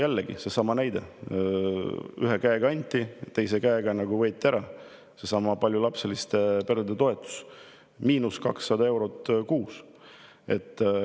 Jällegi seesama näide, kus ühe käega anti ja teise käega võeti ära: seesama paljulapseliste perede toetus, miinus 200 eurot kuus.